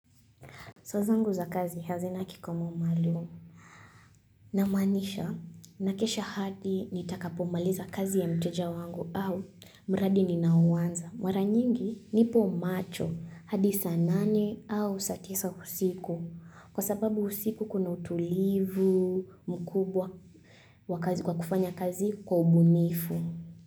Saa zangu za kazi hazina kikomo maalumu. Na maanisha, nakesha hadi nitakapomaliza kazi ya mteja wangu au mradi ninao uwanza. Mara nyingi nipo macho, hadi saa nane au saa tisa usiku. Kwa sababu usiku kuna utulivu mkubwa wa kazi kufanya kazi kwa ubunifu.